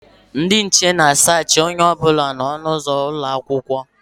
Ndị nche na a saachị onye ọbụla na ọnụ ụzọ ụlọakwụkwọ